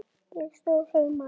Það stóð heima.